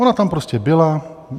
Ona tam prostě byla.